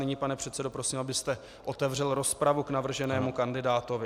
Nyní, pane předsedo, prosím, abyste otevřel rozpravu k navrženému kandidátovi.